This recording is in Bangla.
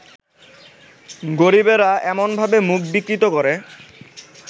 গরিবেরা এমনভাবে মুখ বিকৃত করে